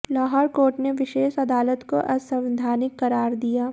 Lahore court ने विशेष अदालत को असंवैधानिक करार दिया